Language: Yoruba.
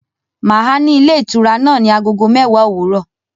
Màá à ní ilé ìtura náà ní Agogo mẹ́wàá òwúrọ̀